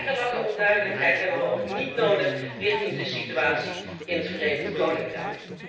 Jarenlange onduidelijkheid hebben we ook niet nodig in de situatie in het Verenigd Koninkrijk.